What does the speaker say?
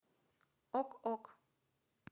ок ок